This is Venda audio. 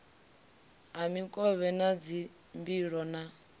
ha mikovhe na dzimbilo ha